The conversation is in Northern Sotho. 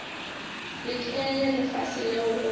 le ke lefase leo go